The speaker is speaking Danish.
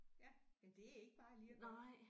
Ja men det er ikke bare lige at gøre